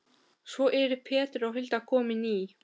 Svo eru Pétur og Hulda komin í